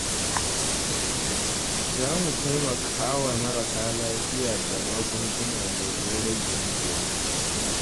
Za mu taimaka wa marasa lafiya da magunguna domin rage musu wahala.